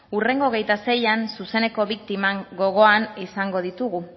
hurrengo hogeita seian zuzeneko biktimak gogoan izango ditugu